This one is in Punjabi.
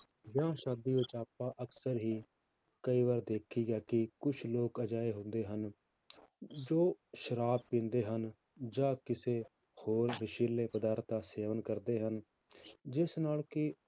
ਵਿਆਹ ਸ਼ਾਦੀ ਵਿੱਚ ਆਪਾਂ ਅਕਸਰ ਹੀ ਕਈ ਵਾਰ ਦੇਖੀਦਾ ਕਿ ਕੁਛ ਲੋਕ ਅਜਿਹੇ ਹੁੰਦੇ ਹਨ, ਜੋ ਸ਼ਰਾਬ ਪੀਂਦੇ ਹਨ ਜਾਂ ਕਿਸੇ ਹੋਰ ਨਸ਼ੀਲੇ ਪਦਾਰਥ ਦਾ ਸੇਵਨ ਕਰਦੇ ਹਨ, ਜਿਸ ਨਾਲ ਕਿ